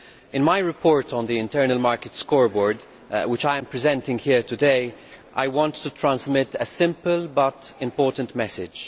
In my report on the Internal Market Scoreboard, which I am presenting here today, I want to transmit a simple but important message.